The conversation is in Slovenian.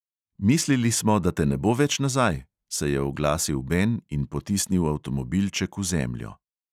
"Mislili smo, da te ne bo več nazaj," se je oglasil ben in potisnil avtomobilček v zemljo.